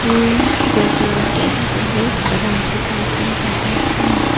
यह जगह जो बहुत बड़ा दिखाई दे रहा है।